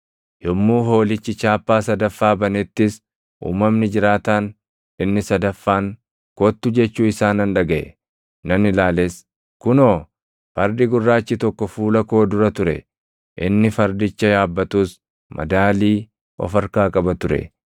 Yommuu Hoolichi chaappaa sadaffaa banettis uumamni jiraataan inni sadaffaan, “Kottu!” jechuu isaa nan dhagaʼe; nan ilaales; kunoo, fardi gurraachi + 6:5 Fardi gurraachi – kun fakkeenya beelaa jechuunis duʼa beelli fiduu dha. tokko fuula koo dura ture! Inni fardicha yaabbatus madaalii of harkaa qaba ture.